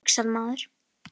Allt, hugsar maður.